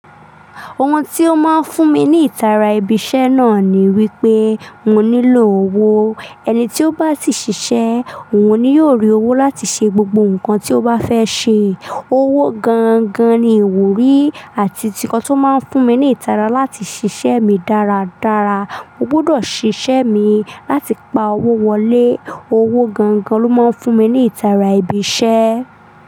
Ohun tí ó máa ń fún mi ní ìtara ibi iṣẹ́ náà ni wípé, mo nílò owó. Ẹni tí ó bá ti ṣiṣẹ́, òun ni yóò rí owó láti ṣe gbogbo nǹkan tí ó bá fẹ́ ṣe. Owó gan gan ni ìwúrí àti ti nkán tó máa ń fún mi ní ìtara láti ṣiṣẹ́ mi dáradára. Mo gbudọ̀ ṣiṣẹ́ mi láti pa owó wọlé. Owó gan gan ló máa ń fún mi ní ìtara ibi iṣẹ́.